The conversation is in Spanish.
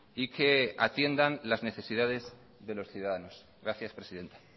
y que atiendan las necesidades de los ciudadanos gracias presidenta